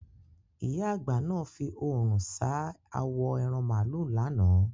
Ìyá àgbà náà fi òrùn ṣáá awo ẹran màlúù lánàá.